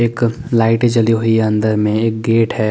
एक लाइटे जली हुई है अन्दर में एक गेट है ।